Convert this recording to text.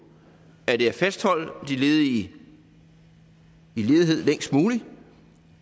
er det at fastholde de ledige i ledighed længst muligt